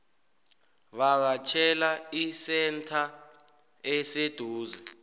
vakatjhela isentha eseduze